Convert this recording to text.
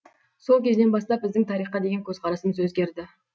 сол кезден бастап біздің тарихқа деген көзқарасымыз өзгерді